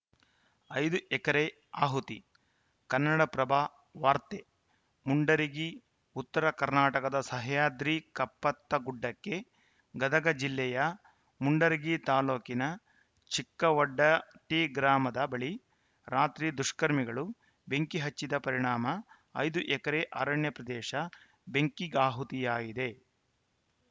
ಐದು ಎಕರೆ ಆಹುತಿ ಕನ್ನಡಪ್ರಭ ವಾರ್ತೆ ಮುಂಡರಗಿ ಉತ್ತರ ಕರ್ನಾಟಕದ ಸಹ್ಯಾದ್ರಿ ಕಪ್ಪತ್ತಗುಡ್ಡಕ್ಕೆ ಗದಗ ಜಿಲ್ಲೆಯ ಮುಂಡರಗಿ ತಾಲೂಕಿನ ಚಿಕ್ಕವಡ್ಡಟ್ಟಿಗ್ರಾಮದ ಬಳಿ ರಾತ್ರಿ ದುಷ್ಕರ್ಮಿಗಳು ಬೆಂಕಿ ಹಚ್ಚಿದ ಪರಿಣಾಮ ಐದು ಎಕರೆ ಅರಣ್ಯ ಪ್ರದೇಶದ ಬೆಂಕಿಗಾಹುತಿಯಾಗಿದೆ